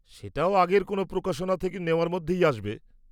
সেটাও আগের কোনও প্রকাশনা থেকে নেওয়ার মধ্যেই আসবে।